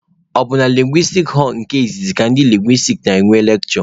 Ọ bụ na lekshure họlụ nke izizi ka ndị lingwistiks na-enwe lekshure.